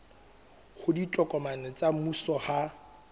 hore ditokomane tsa mmuso ha